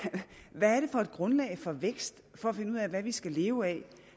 hvad er det for et grundlag for vækst for at finde ud af hvad vi skal leve af